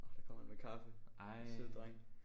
Åh der kommer en med kaffe. Sød dreng